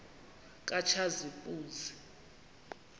katshazimpuzi